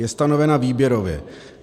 Je stanovena výběrově.